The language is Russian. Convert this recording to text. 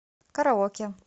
караоке